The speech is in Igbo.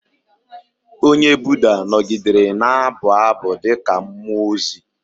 Onye Buda nọgidere na-abụ abụ dị ka mmụọ ozi.